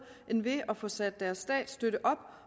end ved at få sat deres statsstøtte op